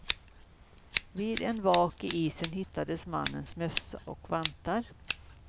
Vid en vak i isen hittades mannens mössa och vantar.